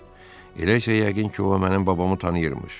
Eləcə yəqin ki, o mənim babamı tanıyırmış.